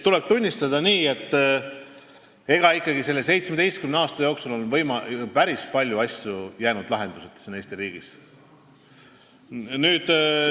Tuleb tunnistada, et nende 17 aasta jooksul on ikkagi päris palju asju siin Eesti riigis lahenduseta jäänud.